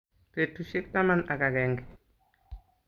Petusyek taman ak agenge.